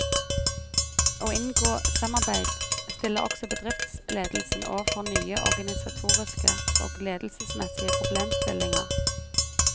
Å inngå samarbeid stiller også bedriftsledelsen overfor nye organisatoriske og ledelsesmessige problemstillinger.